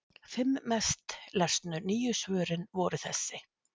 Fimm mest lesnu nýju svörin voru þessi: